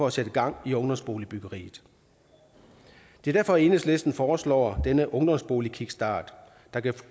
at sætte gang i ungdomsboligbyggeriet det er derfor enhedslisten foreslår denne ungdomsboligkickstart der kan